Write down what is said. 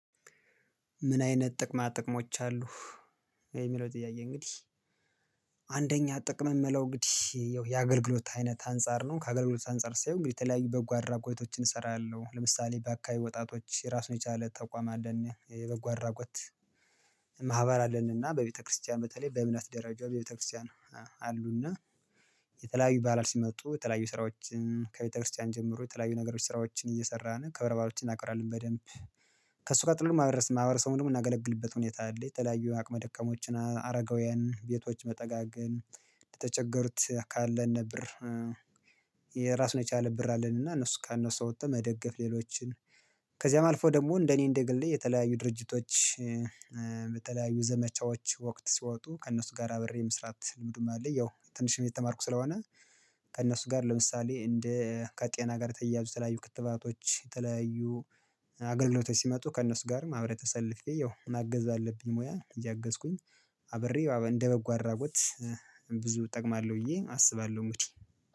ምን አይነት ጥቅማ ጥቅሞች አሉህ የሚለው ጥያቄ እንግዲህ አንደኛ ጥቅም እምለው እንግዲህ ያው የአገልግሎት አይነት አንፃር ነው። ከአገልግሎት አንፃር ሳየው እንግዲህ የተለያዩ በጎ አድራጎቶችን እሰራለሁ ለምሳሌ በአካባቢው ወጣቶች እራሱን የቻለ ተቋም አለን፣ የበጎ አድራጎት ማህበር አለን እና በቤተ ክርስቲያን በተለይ በእምነት ደረጃ በቤተ ክርስቲያን አሉ እና የተለያዩ በዓላል ሲመጡ የተለያዩ ስራዎችን ከቤተ ክርስቲያን ጀምሮ የተለያዩ ነገሮች ስራዎችን እየሰራን ክብረ በዓሎች እናከብራለን በደንብ ከእሱ ቀጥሎ ማህበረስ ማህበረሰቡን ምናገለግልበት ሁኔታ አለ። የተለያዩ አቅመ ደካሞችን አ አረጋውያን ቤቶች መጠጋገን ለተቸገሩት ካለን ብር የራሱን የቻለ ብር አለን እና እነሱ ከነሱ ወጥተን መደገፍ ሌሎችን ከዚያም አልፎ ደግሞ እንደኔ እንደ ግሌ የተለያዩ ድርጅቶች በተለያዩ ዘመቻዎች ወቅት ሲወጡ ከእነሱ ጋር አብሬ መስራት ልምዱም አለኝ ያው ትንሽም እየተማርኩ ስለሆነ ከእነሱ ጋር ለምሳሌ እንደ ከጤና ጋር የተያያዙ የተለያዩ ክትባቶች የተለያዩ አገልግሎቶች ሲመጡ ከእነሱ ጋርም አብሬ ተሰልፌ ያው ማገዝ አለብኝ ሙያ እያገዝኩኝ አብሬ አብ እንደበጎ አድራጎት ብዙ እጠቅማለሁ ብዬ አስባለሁ እንግዲህ